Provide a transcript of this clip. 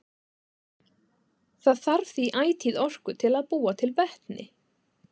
Það þarf því ætíð orku til að búa til vetni.